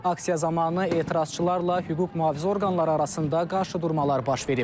Aksiya zamanı etirazçılarla hüquq mühafizə orqanları arasında qarşıdurmalar baş verib.